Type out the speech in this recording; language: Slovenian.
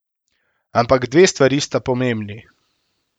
Ampak dve stvari sta pomembni.